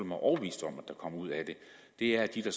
mig overbevist om kommer ud af det er at de der